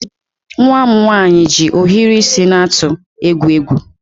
Nwa m nwaanyị ji ohiri isi na-atụ egwu egwu.